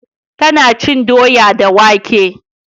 Ta na cin doya da wake